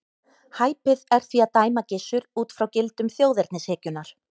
Hæpið er því að dæma Gissur út frá gildum þjóðernishyggjunnar.